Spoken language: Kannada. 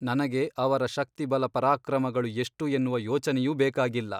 ನನಗೆ ಅವರ ಶಕ್ತಿಬಲಪರಾಕ್ರಮಗಳು ಎಷ್ಟು ಎನ್ನುವ ಯೊಚನೆಯೂ ಬೇಕಾಗಿಲ್ಲ.